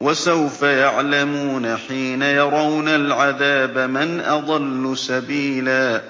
وَسَوْفَ يَعْلَمُونَ حِينَ يَرَوْنَ الْعَذَابَ مَنْ أَضَلُّ سَبِيلًا